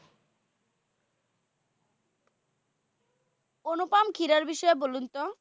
অনুপম খেরর বিষয়ে বলুন তো?